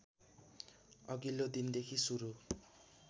अघिल्लो दिनदेखि सुरु